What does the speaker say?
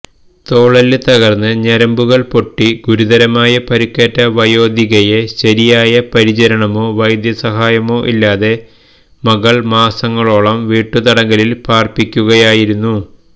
തോളെല്ല് തകർന്ന് ഞരമ്പുകൾ പൊട്ടി ഗുരുതര പരുക്കേറ്റ വയോധികയെ ശരിയായ പരിചരണമോ വൈദ്യസഹായമോ ഇല്ലാതെ മകൾ മാസങ്ങളോളം വീട്ടുതടങ്കലിൽ പാർപ്പിക്കുകയായിരുന്നു